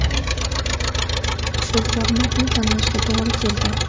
Shu formatni tanlashga to‘g‘ri keldi.